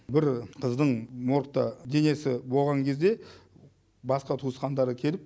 бір қыздың моргта денесі болған кезде басқа туысқандары келіп